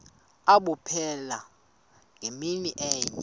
abupheli ngemini enye